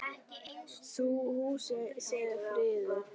Sum húsin séu friðuð.